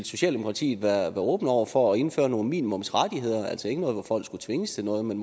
socialdemokratiet være åben over for at indføre nogle minimumsrettigheder altså ikke sådan at folk skal tvinges til noget men